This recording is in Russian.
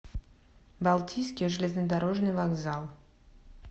балтийский железнодорожный вокзал